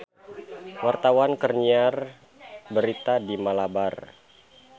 Wartawan keur nyiar berita di Malabar